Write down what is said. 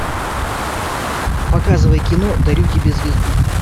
показывай кино дарю тебе звезду